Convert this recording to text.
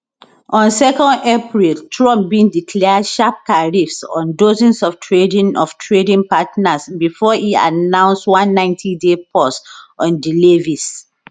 on 2 april trump bin declare sharp tariffs on dozens of trading of trading partners bifor e announce one 90day pause on di levies